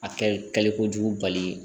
A kɛli kojugu bali